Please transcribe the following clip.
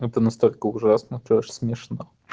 это настолько ужасно что аж смешно